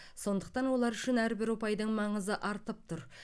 сондықтан олар үшін әрбір ұпайдың маңызы артып тұр